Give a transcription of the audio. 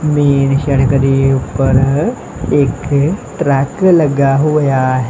Main ਸੜਕ ਦੇ ਊਪਰ ਇੱਕ ਟਰੱਕ ਲੱਗਾ ਹੋਇਆ ਹੈ।